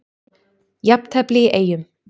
Jafntefli í Eyjum